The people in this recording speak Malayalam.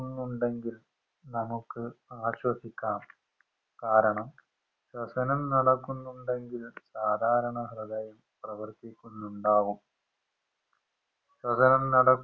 ന്നുണ്ടെങ്കിൽ നമുക്ക് ആശ്വസിക്കാം കാരണം ശ്വസനം നടക്കുന്നുണ്ടെങ്കിൽ സാദാരണ ഹൃദയം പ്രവർത്തിക്കുന്നുണ്ടാവും ശ്വസനം നടക്കു